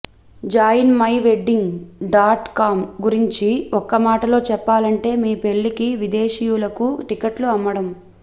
join my wedding dot com గురించి ఒక్కమాటలో చెప్పాలంటే మీ పెళ్లికి విదేశీయులకు టికెట్లు అమ్మడం